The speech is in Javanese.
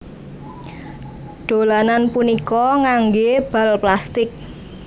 Dolanan punika nganggé bal plastik